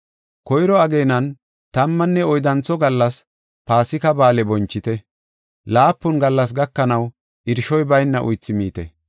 “Koyro ageenan, tammanne oyddantho gallas Paasika Ba7aale bonchite; laapun gallas gakanaw, irshoy bayna uythi miite.